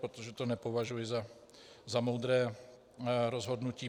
Protože to nepovažuji za moudré rozhodnutí.